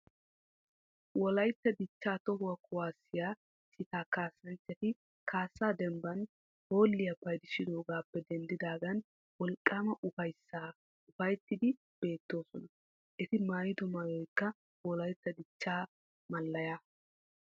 Wolaytta dichchaa toho kuwaasiya citaa kaassanchchati kaassa denbban hoolliya paydissidogaappe denddaagan wolqqaama ufayssaa ufayttiiddi beettoosona. Eti maayido maayoykk wolaytta dichchaa mallayaa.